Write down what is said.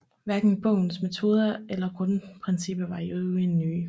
Hverken bogens metoder eller grundprincipper var i øvrigt nye